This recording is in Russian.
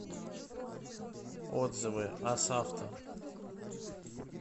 отзывы асавто